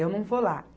Eu não vou lá.